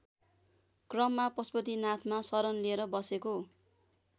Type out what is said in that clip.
क्रममा पशुपतिनाथमा शरण लिएर बसेको